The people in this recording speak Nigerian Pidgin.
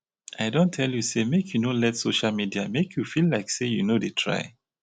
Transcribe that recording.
i don tell you sey make you no let social media make you feel sey you no dey try.